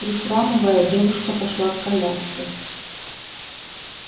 прихрамывая девушка пошла к коляске